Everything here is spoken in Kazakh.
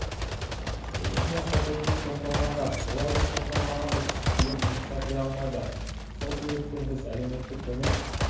ең басты қиындық сотталғандар олар біз сотталғанбыз деп жұмысқа кіре алмайды сол себептен біз әлеуметтік көмек